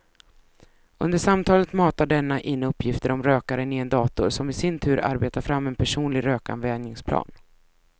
Under samtalet matar denna in uppgifter om rökaren i en dator som i sin tur arbetar fram en personlig rökavvänjningsplan.